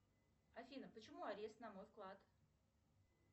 афина почему арест на мой вклад